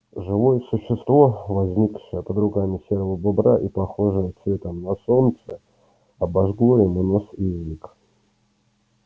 живое существо возникшее под руками серого бобра и похожее цветом на солнце обожгло ему нос и язык